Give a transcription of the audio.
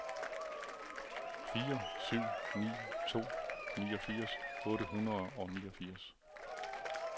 fire syv ni to niogfirs otte hundrede og niogfirs